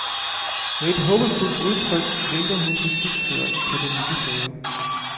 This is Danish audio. Med et håbefuldt udtryk vinker hun til skibsføreren på den lille færge.